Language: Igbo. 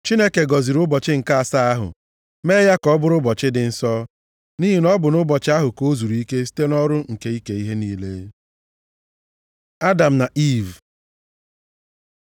Chineke gọziri ụbọchị nke asaa ahụ mee ya ka ọ bụrụ ụbọchị dị nsọ, nʼihi na ọ bụ nʼụbọchị ahụ ka ọ zuru ike site nʼọrụ nke ike ihe niile. Adam na Iiv